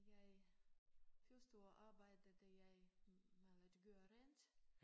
Jeg første år arbejdede jeg i med at gøre rent